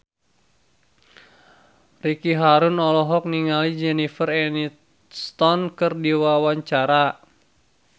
Ricky Harun olohok ningali Jennifer Aniston keur diwawancara